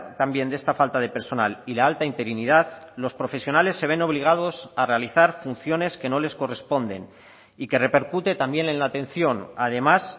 también de esta falta de personal y la alta interinidad los profesionales se ven obligados a realizar funciones que no les corresponden y que repercute también en la atención además